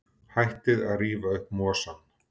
Hættið að rífa upp mosann.